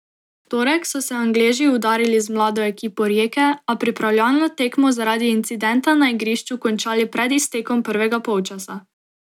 V torek so se Angleži udarili z mlado ekipo Rijeke, a pripravljalno tekmo zaradi incidenta na igrišču končali pred iztekom prvega polčasa.